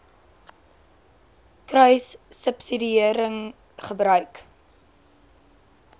kruissubsidiëringgebruik